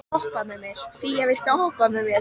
Fía, viltu hoppa með mér?